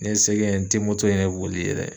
Ni ye se kɛ n ye, n te moto yɛrɛ boli yɛrɛ